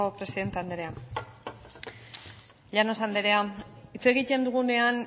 presidente andrea llanos andrea hitz egiten dugunean